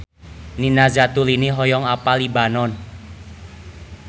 Nina Zatulini hoyong apal Libanon